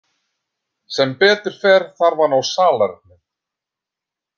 Sem betur fer þarf hann á salernið.